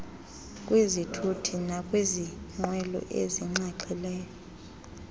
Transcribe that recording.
kwizithuthi nakwiingxelo ezinxaxhileyo